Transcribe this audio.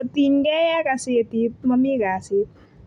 kotiny ge ak gazetit mami kasit